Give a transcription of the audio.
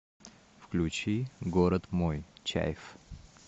включи город мой чайф